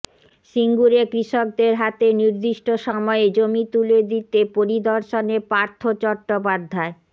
সিঙ্গুরে কৃষকদের হাতে নির্দিষ্ট সময়ে জমি তুলে দিতে পরিদর্শনে পার্থ চট্টোপাধ্যায়